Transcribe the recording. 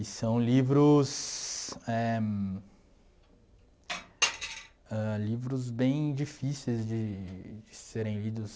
E são livros, éh... Ãh, livros bem difíceis de serem lidos...